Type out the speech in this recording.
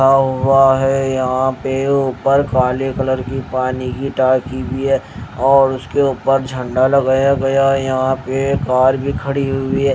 हुआ है यहां पे ऊपर काले कलर की पानी की टाकी भी है और उसके ऊपर झंडा लगाया गया है यहां पे कार भी खड़ी हुई है।